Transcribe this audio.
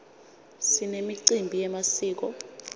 sinemicimbi yemasiko